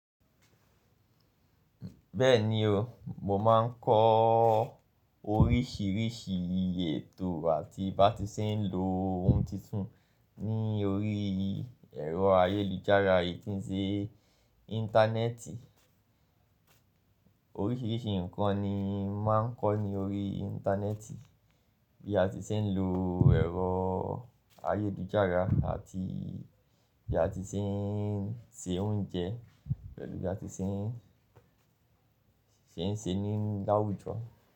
Bẹ́ẹ̀ni o, mo máa ń kọ́ oríṣìíríṣìí ètò àti bí a ti ṣe ń lo oun titun ní orí ẹ̀rọ ayélujára yìí tí ń ṣe Íńtánẹ́ẹ̀tì. Oríṣìíríṣìí ǹkan ni mo máa ń kọ́ ní orí Íńtánẹ́ẹ̀tì, bí a ti ṣe ń lo ẹ̀rọ ayélujára àti bí a ti ṣe ń se oúnjẹ pẹ̀lú bí a ti ṣe ń ṣe ń ṣe ní láwùjọ.